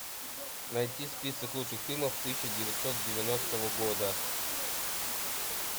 найти список лучших фильмов тысяча девятьсот девяностого года